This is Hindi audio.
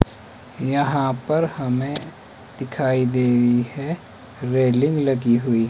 यहां पर हमें दिखाई दे रही है रेलिंग लगी हुई।